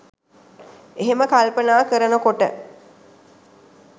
එහෙම කල්පනා කරනකොට